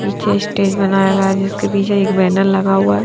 पीछे स्टेज बनाया गया है जिस के पीछे एक बैनर लगा हुआ है।